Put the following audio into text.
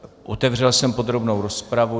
Otevřel jsem podrobnou rozpravu.